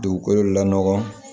Dugukolo lanɔgɔ